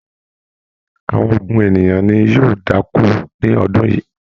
Àwọn ogún ènìyàn ní yóò da'ko ní ọdún yìí.